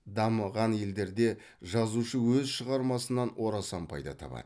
дамыған елдерде жазушы өз шығармасынан орасан пайда табады